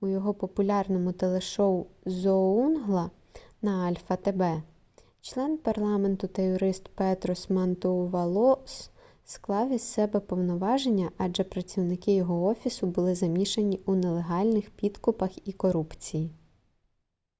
у його популярному телешоу зоунгла на альфа тб член парламенту та юрист петрос мантоувалос склав із себе повноваження адже працівники його офісу були замішані у нелегальних підкупах і корупції